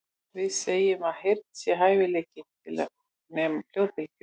Við segjum að heyrn sé hæfileikinn til að nema hljóðbylgjur.